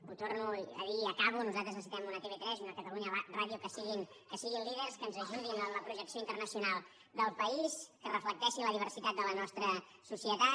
ho torno a dir i acabo nosaltres necessitem una tv3 i una catalunya ràdio que siguin líders que ens ajudin en la projecció internacional del país que reflecteixin la diversitat de la nostra societat